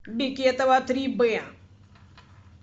бекетова три б